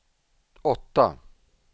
åtta